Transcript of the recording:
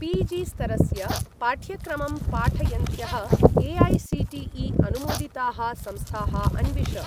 पी.जी.स्तरस्य पाठ्यक्रमं पाठयन्त्यः ए.ऐ.सी.टी.ई.अनुमोदिताः संस्थाः अन्विष।